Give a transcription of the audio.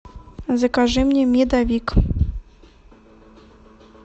закажи мне медовик